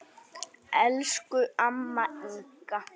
Elsku amma Inga.